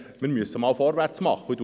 Wir müssen endlich vorwärtsmachen.